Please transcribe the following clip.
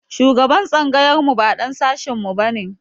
Shugaban tsangayar mu ba ɗan sashin mu ba ne.